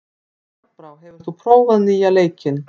Járnbrá, hefur þú prófað nýja leikinn?